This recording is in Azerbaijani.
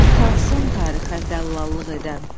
Utansın tarixə dəllallıq edən.